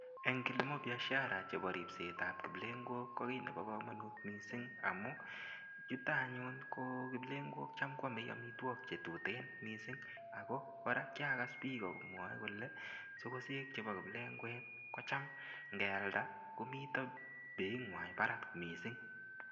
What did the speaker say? En kilimo biashara chebo ribsetab kiplengok kokinebo komonut mising amun yuto anyun ko kiplengok kocham kwome amitwokik chetuten mising ak ko kora kiakas biik komwoe kolee sokosek chebo kiplengwet kocham ngealda komiten beinywan barak mising.